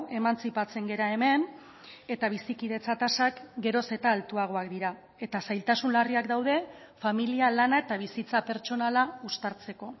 emantzipatzen gara hemen eta bizikidetza tasak geroz eta altuagoak dira eta zailtasun larriak daude familia lana eta bizitza pertsonala uztartzeko